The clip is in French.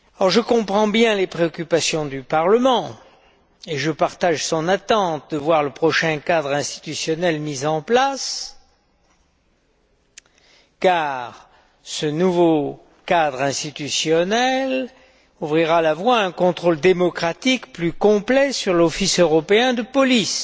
Je comprends bien les préoccupations du Parlement et je partage son attente de voir le prochain cadre institutionnel mis en place, car ce nouveau cadre institutionnel ouvrira la voie à un contrôle démocratique plus complet sur l'Office européen de police.